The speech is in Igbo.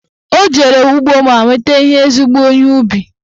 Ọ jere ugbo ma weta ezigbo ihe ubi